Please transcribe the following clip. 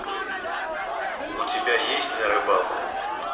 у тебя есть на рыбалку